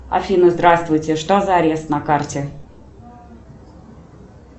афина здравствуйте что за арест на карте